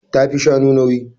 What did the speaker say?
Ta fi shanu nauyi.